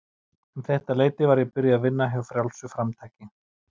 Um þetta leyti var ég byrjuð að vinna hjá Frjálsu framtaki.